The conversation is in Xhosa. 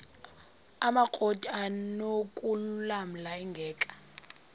amakrot anokulamla ingeka